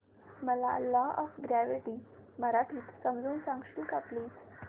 मला law of gravity मराठीत समजून सांगशील का प्लीज